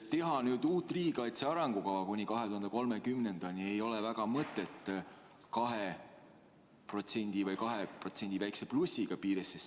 Teha nüüd uut riigikaitse arengukava kuni 2030. aastani, pidades silmas 2% või 2% väikese plussiga ei ole väga mõttekas.